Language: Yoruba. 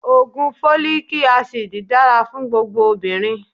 Ògùn Fólíkí asidì dára fún gbogbo obìnrin.